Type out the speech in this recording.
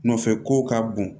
Nɔfɛ kow ka bon